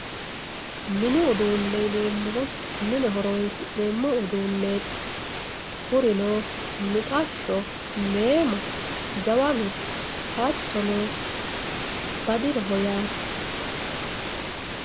mini uduune yineemohu mine horonsi'neemo uduuneeti kurino midhashsho, meemo, jawanu hattono badiroho yaate.